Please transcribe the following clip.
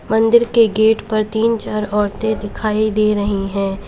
मंदिर के गेट पर तीन चार औरतें दिखाई दे रही हैं।